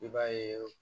I b'a ye